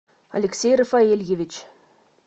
алексей рафаэльевич